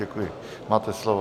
Děkuji, máte slovo.